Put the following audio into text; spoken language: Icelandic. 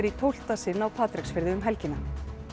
í tólfta sinn á Patreksfirði um helgina